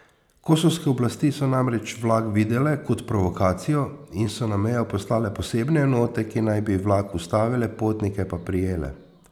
Kosovske oblasti so namreč vlak videle kot provokacijo in so na mejo poslale posebne enote, ki naj bi vlak ustavile, potnike pa prijele.